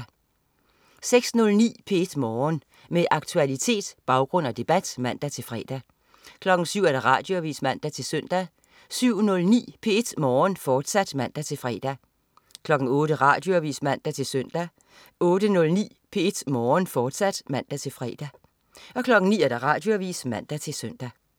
06.09 P1 Morgen. Med aktualitet, baggrund og debat (man-fre) 07.00 Radioavis (man-søn) 07.09 P1 Morgen, fortsat (man-fre) 08.00 Radioavis (man-søn) 08.09 P1 Morgen, fortsat (man-fre) 09.00 Radioavis (man-søn)